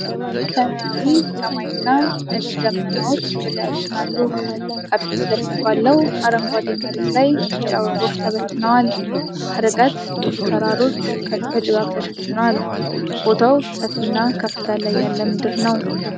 ሰማያዊ ሰማይና ነጭ ደመናዎች በላያችን አሉ። ከፊት ለፊት ባለው አረንጓዴ መሬት ላይ ቢጫ አበቦች ተበትነዋል። ከርቀት ብዙ ተራሮች በጭጋግ ተሸፍነዋል። ቦታው ሰፋፊና ከፍታ ላይ ያለ ምድር ነው።